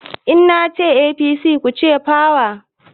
In na ce APC, ku ce "power"